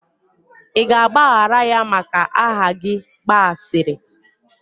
ị ga-agbaghara ya maka aha gị gba asịrị?